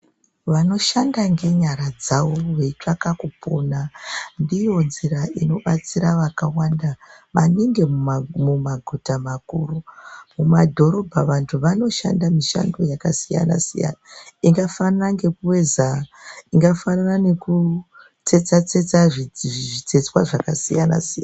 Vanoshanda ngenyara dzavo veitsvake kupona ndiyo nzira inobatsira vakawanda maningi mumaguta makuru. Mumadhorobha vantu vanoshanda mishando yakasiyana -siyana ingafanana ngekuveza, ingafanana nekutsetsa zvitsetswa zvakasiyana siyana.